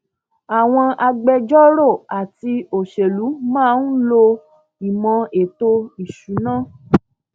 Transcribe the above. àwọn agbẹjọrò àti òṣèlú máa ń lo ìmò ètò ìsúná